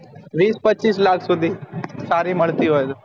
વિશ પચ્ચીસ lakh સુધી સારી મળતી હોય તો